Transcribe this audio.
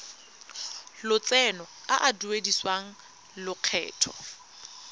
lotseno a a duedisiwang lokgetho